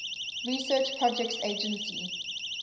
research projects agency